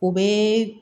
O bɛ